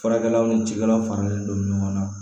Farajɛlaw ni cikɛlaw faralen don ɲɔgɔn na